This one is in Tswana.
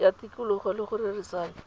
ya tikologo le go rerisana